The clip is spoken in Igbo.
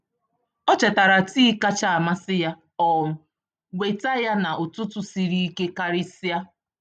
Ọ chetara tii kacha amasị ya ma um weta ya n’ụtụtụ siri ike karịsịa.